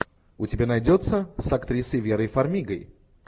у тебя найдется с актрисой верой фармигой